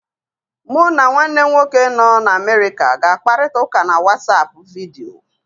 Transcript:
Mụ na nwanne m nwoke nọ n'Amerịka ga-akparita ụka na WatsAapụ vidiyo.